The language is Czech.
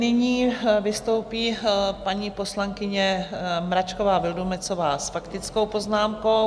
Nyní vystoupí paní poslankyně Mračková Vildumetzová s faktickou poznámkou.